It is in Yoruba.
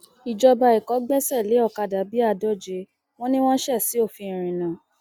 ìjọba ẹkọ gbẹsẹ lé ọkadà bíi àádóje wọn ni wọn ṣe ṣòfin ìrìnnà